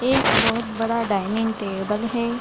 एक बहुत बड़ा डाइनिंग टेबल है।